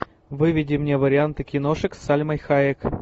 выведи мне варианты киношек с сальмой хайек